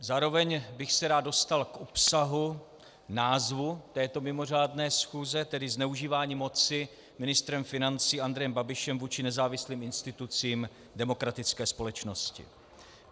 Zároveň bych se rád dostal k obsahu názvu této mimořádné schůze, tedy zneužívání moci ministrem financí Andrejem Babišem vůči nezávislým institucím demokratické společnosti.